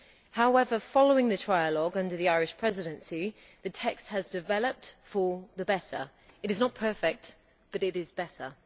However, following the trialogue under the Irish Presidency, the text has developed for the better. It is not perfect, but it is better.